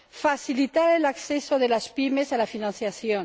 facilitar el acceso de las PYME a la financiación